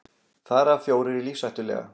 Þar af fjórir lífshættulega